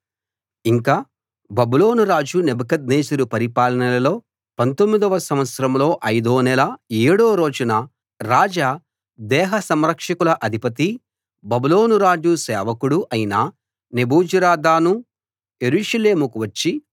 ఇంకా బబులోను రాజు నెబుకద్నెజరు పరిపాలనలో 19 వ సంవత్సరంలో ఐదో నెల ఏడో రోజున రాజ దేహసంరక్షకుల అధిపతీ బబులోనురాజు సేవకుడూ అయిన నెబూజరదాను యెరూషలేముకు వచ్చి